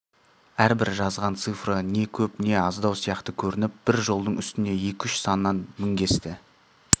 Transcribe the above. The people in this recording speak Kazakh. әрбір жазған цифры не көп не аздау сияқты көрініп бір жолдың үстіне екі-үш саннан міңгесті